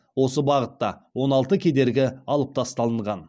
осы бағытта он алты кедергі алып тасталынған